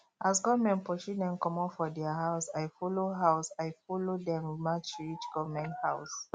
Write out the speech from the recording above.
as government pursue dem comot for their house i follow house i follow dem match reach government house